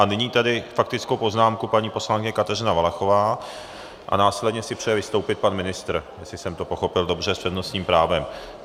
A nyní tedy faktickou poznámku paní poslankyně Kateřina Valachová a následně si přeje vystoupit pan ministr, jestli jsem to pochopil dobře, s přednostním právem.